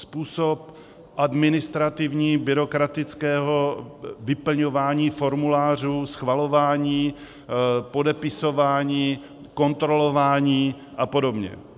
Způsob administrativní - byrokratického vyplňování formulářů, schvalování, podepisování, kontrolování a podobně.